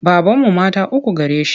Babanmu mata uku gare shi.